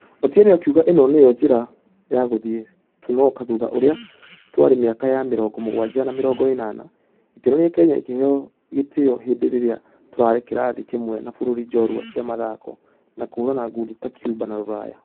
Otieno akĩuga ĩno nĩo njĩra ya gũthie tũnoke thutha ũrĩa twarĩ mĩaka ya mĩrongo mũgwaja na mĩrongo ĩnana . Ĩkĩonania kenya ĩkĩheo gĩteo ihinda rĩrĩa tũrare kĩrathi kĩmwe na bũrũri njorua cia mũthako wa kũhũrana ngundi ta Cuba na rũraya.